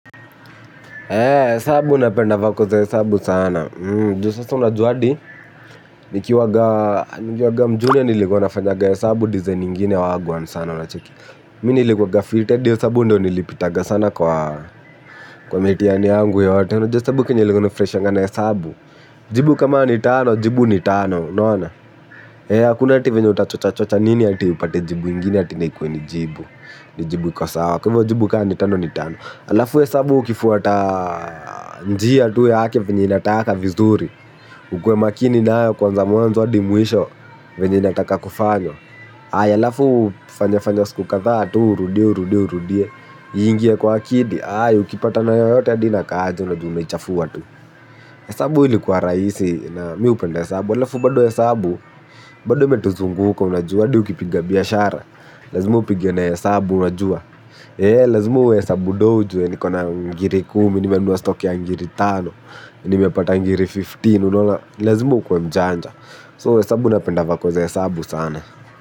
Hesabu napenda vako za hesabu sana. Juu sasa unajuwa adi nikiwaga mjunia nilikuwa nafanyaga hesabu design ingine wagwan sana unacheki. Mi nilikuwaga fiti adi hesabu ndio nilipitaga sana kwa mitiani yangu yote. Jua esabu kenye ilikuwanga inafuraishanga na esabu. Jibu kama ni tano, jibu ni tano. Unaona? Akuna ati venye utachocha chocha nini ati upate jibu ingine ati na ikuwe ni jibu. Ni jibu iko sawa. Kwa hivyo jibu kaa ni tano ni tano. Alafu hesabu ukifuata njia tu yake venye inataka vizuri. Ukuwe makini nayo kuanza mwanzo adi mwisho venye inataka kufanywa aya alafu fanya fanya siku kadhaa tu urudie urudie urudie. Iingie kwa akidi ukipatana na yoyote adi inakaa aje unajua unaichafua esabu ilikuwa raisi na mi upenda esabu alafu bado esabu bado imetuzunguka unajua adi ukipiga biashara. Lazima upige na esabu unajua. Eeh lazima uhesabu doo ujuwe niko na ngiri kumi nimenunua stock ya ngiri tano. Nimempata ngiri kumi na tano unaona ni lazima ukuwe mjanja So esabu napenda vako za esabu sana.